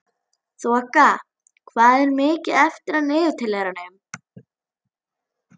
Þoka, hvað er mikið eftir af niðurteljaranum?